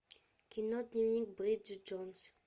кино дневник бриджит джонс